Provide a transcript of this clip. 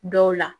Dɔw la